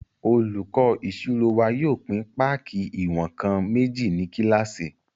Olùkọ́ ìṣirò wa yóò pín páàkì ìwọ̀n-nkan méjì ní kílásì